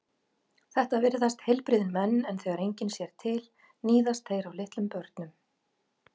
Þetta virðast heilbrigðir menn en þegar enginn sér til níðast þeir á litlum börnum.